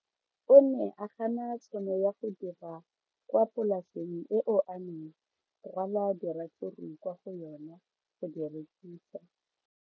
O ne a gana tšhono ya go dira kwa polaseng eo a neng rwala diratsuru kwa go yona go di rekisa.